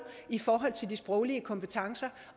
i forhold til de sproglige kompetencer